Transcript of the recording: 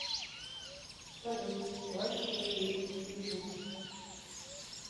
салют райт хиа ютуб